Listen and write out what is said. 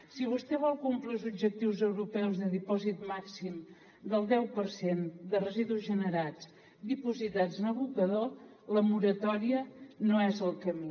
si vostè vol complir els objectius europeus de dipòsit màxim del deu per cent de residus generats dipositats en abocador la moratòria no és el camí